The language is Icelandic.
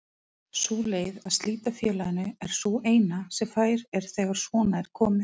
Sú leið að slíta félaginu er sú eina sem fær er þegar svona er komið.